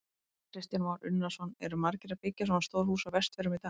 Kristján Már Unnarsson: Eru margir að byggja svona stór hús á Vestfjörðum í dag?